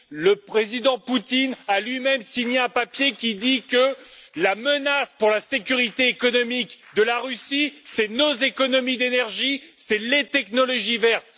Le Président Poutine a lui même signé un papier qui dit que la menace pour la sécurité économique de la Russie, ce sont nos économies d'énergie et les technologies vertes.